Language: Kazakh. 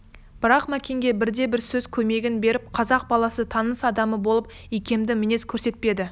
бірақ мәкенге бірде-бір сөз көмегін беріп қазақ баласы таныс адамы болып икемді мінез көрсетпеді